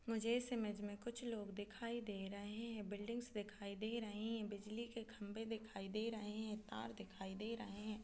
मुझे इस इमेज में कुछ लोग दिखाई दे रहे है बिल्डिंग्स दिखाई दे रही है बिजली के खम्बे दिखाई दे रहे है तार दिखाई दे रहे है।